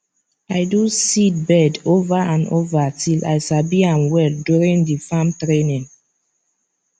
i do seedbed over and over till i sabi am well during the farm training